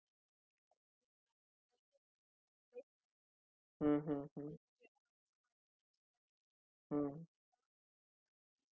app जाऊन ती order place करावी लागेल म्हणजे जेव्हा आमचा माणूस तुमच्याकडे येईल तेव्हा आता तीस हजार